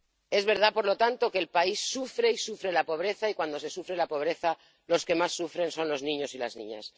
Es verdad, por lo tanto, que el país sufre y sufre la pobreza y, cuando se sufre la pobreza, los que más sufren son los niños y las niñas.